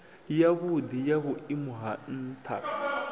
yavhudi ya vhuimo ha ntha